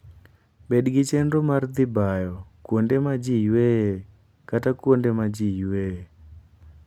Bed gi chenro mar dhi bayo kuonde ma ji yueyoe kata kuonde ma ji yueyoe.